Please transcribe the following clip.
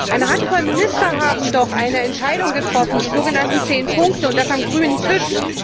Eine Handvoll Minister haben doch eine Entscheidung getroffen die sogenannten 10 Punkte und das am grünen Tisch.